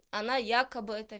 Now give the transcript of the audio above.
она якобы это